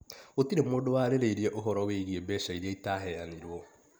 Gũtirĩ mũndũ warĩrĩirie ũhoro wĩgiĩ mbeca iria itaheanirwo